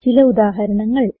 ചില ഉദാഹരണങ്ങൾ